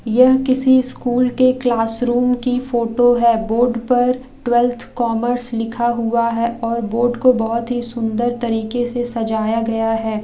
यह किसी स्कूल के क्लासरूम की फोटो है बोर्ड पर ट्वेल्व्थ कॉमर्स लिखा हुआ है और बोर्ड को बहुत ही सुंदर तरीके से सजाया गया है।